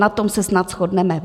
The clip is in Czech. Na tom se snad shodneme.